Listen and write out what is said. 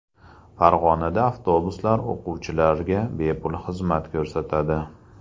Farg‘onada avtobuslar o‘quvchilarga bepul xizmat ko‘rsatadi.